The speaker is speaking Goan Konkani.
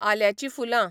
आल्याचीं फुलां